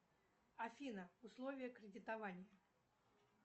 афина условия кредитования